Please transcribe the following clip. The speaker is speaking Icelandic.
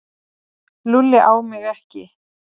Lúlli á mig ekki.